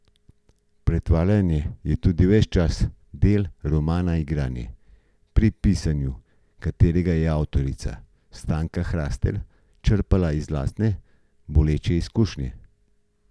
Pretvarjanje je tudi ves čas del romana Igranje, pri pisanju katerega je avtorica Stanka Hrastelj črpala iz lastne boleče izkušnje.